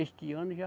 Este ano já.